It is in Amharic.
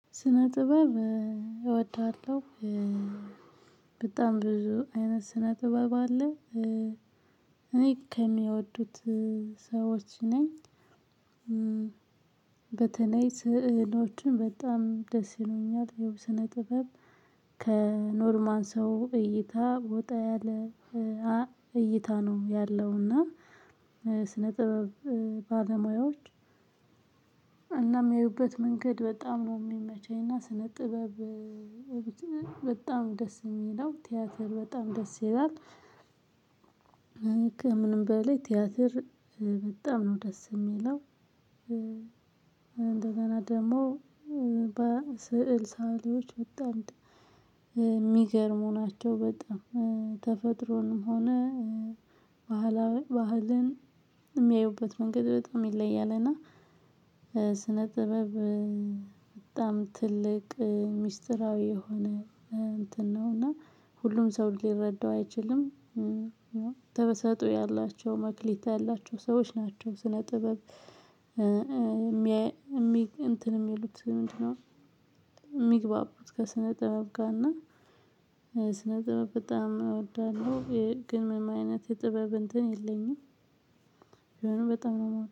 ስነ ጥበብ እወዳለሁ። በጣም ብዙ አይነት ስነ ጥበብ አለ እኔ ከሚወዱት ሰዎች ነኝ። በተለይ ስዕሎችን በጣም ደስ ይሉኛል። የስነ ጥበብ ከኖርማን ሰው እይታ ወጣ ያለ እይታ ነው ያለውና። ስነ ጥበብ ባለሙያዎች እና የሚያዩበት መንገድ በጣም ነው የሚመቸኝ። እና ስነ ጥበብ በጣም ደስ የሚል ነው። ቲያትር በጣም ደስ ይላል። እኔ ከምንም በላይ ቲያትር በጣም ነው ደስ የሚለው እንደገና ደግሞ። በስዕል ሰአሊዎች ወጣ የሚገርሙ ናቸው። በጣም ተፈጥሮንም ሆነ ባህላዊ ባህልን የሚያዩበት መንገድ በጣም ይለያል። እና ስነ ጥበብ በጣም ትልቅ ሚስጥራዊ የሆነ እንትን ነው። እና ሁሉም ሰው ሊረዳው አይችልም። ተበሰጦ ያላቸው መክሊት ያላቸው ሰዎች ናቸው። ስነ ጥበብ የሚል እንትን የሚሉት ምንድነው? የሚግባቡት ከስነ ጥበብ ጋ እና ስነ ጥበብ በጣም እወዳለሁ። ግን ምን አይነት የጥበብ እንትን የለኝም። ቢሆንም በጣም ነው